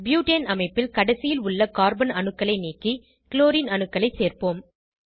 butane அமைப்பில் கடைசியில் உள்ள கார்பன் அணுக்களை நீக்கி குளோரின் அணுக்களை சேர்ப்போம்